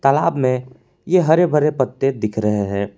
तालाब में ये हरे भरे पत्ते दिख रहे हैं।